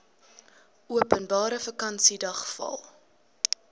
openbare vakansiedag val